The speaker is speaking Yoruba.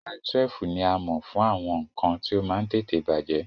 Mile 12 ní a mọ̀ fún àwọn nǹkan tí ó máa ń tètè bàjẹ́